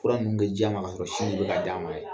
Fura nunnu kɛ ja ma ka sɔrɔ sin be ka d'a ma yɛrɛ.